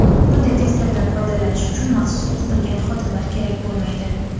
Bunday testerdan foydalanish uchun maxsus o‘qitilgan xodimlar kerak bo‘lmaydi.